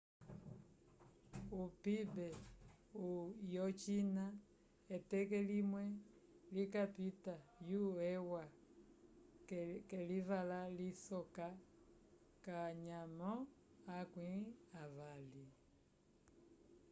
o pib yo china eteke limwe likapita yo eua k'elivala lisoka kanyamo akwĩ avali